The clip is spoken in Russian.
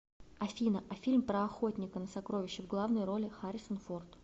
афина а фильм про охотника на сокровища в главной роли харрисон форд